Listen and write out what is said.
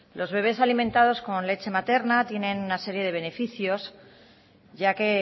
los bebes alimentados con leche materna tienen una serie de beneficios ya que